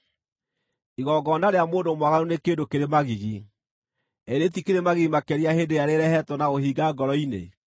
Igongona rĩa mũndũ mwaganu nĩ kĩndũ kĩrĩ magigi: ĩ rĩtikĩrĩ magigi makĩria hĩndĩ ĩrĩa rĩrehetwo na ũhinga ngoro-inĩ!